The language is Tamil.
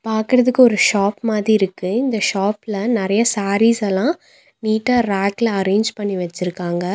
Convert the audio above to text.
பாக்றதுக்கு ஒரு ஷாப் மாதி இருக்கு இந்த ஷாப்ல நெறைய சேரீஸ் எல்லா நீட்டா ரேக்ல அரேஞ்ச் பண்ணி வச்சிருக்காங்க.